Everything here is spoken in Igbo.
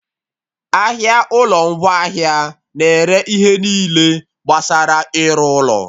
Ahịa ụlọ ngwaahịa na-ere ihe niile gbasara ịrụ ụlọ